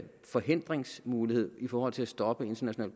forhindringsmulighed i forhold til at stoppe international